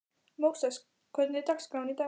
Móses, hvernig er dagskráin í dag?